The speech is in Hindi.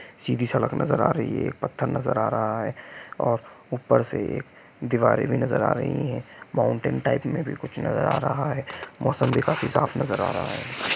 सीधी सड़क नजर आ रही है एक पत्थर नजर आ रहा है और ऊपर से एक दिवारे भी नजर आ रही है माउन्टिंग टाइप में भी कुछ नजर आ रहा है मौसम भी काफी साफ नजर आ रहा है।